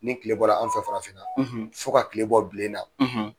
Ni tile bɔra an fɛ farafinna fɔ ka tile bɔ bilen na